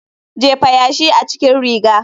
Jefa yashi a cikin riga.